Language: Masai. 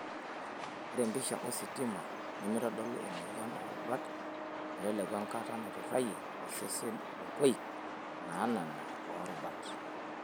Ore empisha ositima nemeitodolu emoyian oorubat meteleku enkata naiturayie osesen nkoik naanana oorubat.